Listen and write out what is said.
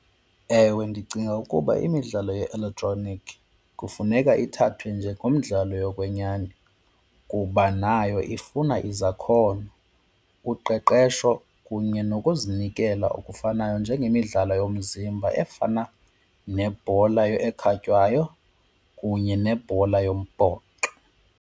Ewe, ndicinga ukuba imidlalo ye-elektroniki kufuneka ithathwe njengomdlalo yokwenyani kuba nayo ifuna izakhono, uqeqeshesho kunye nokuzinikela okufanayo njengemidlalo yomzimba efana nebhola ekhatywayo kunye nebhola yombhoxo.